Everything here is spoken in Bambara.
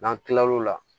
N'an tilal'o la